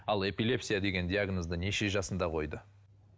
ал эпилепсия деген диагнозды неше жасында қойды